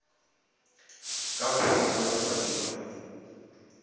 ka go ba monolofatši wa